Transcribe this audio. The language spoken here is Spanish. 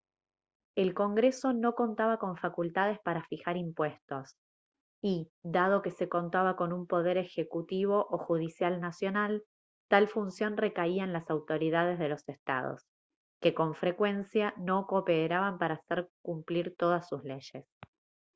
el congreso no contaba con facultades para fijar impuestos y dado que se contaba con un poder ejecutivo o judicial nacional tal función recaía en las autoridades de los estados que con frecuencia no cooperaban para hacer cumplir todas sus leyes